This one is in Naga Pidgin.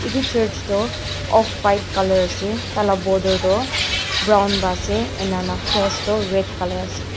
etu church toh off white colour ase tai la ka border toh brown ase ene na cross toh red colour ase.